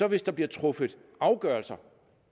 at hvis der bliver truffet afgørelser